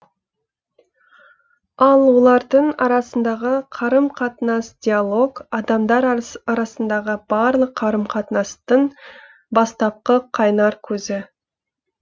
ал олардың арасындағы қарым қатынас диалог адамдар арасындағы барлық қарым қатынастың бастапқы қайнар көзі